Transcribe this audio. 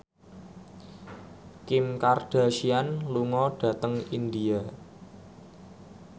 Kim Kardashian lunga dhateng India